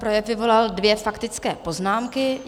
Projev vyvolal dvě faktické poznámky.